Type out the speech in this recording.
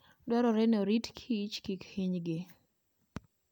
Dwarore ni orit Kich kik hinygi.